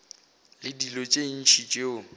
le dilo tše ntši tšeo